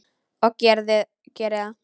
Og geri það.